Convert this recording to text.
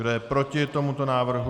Kdo je proti tomuto návrhu?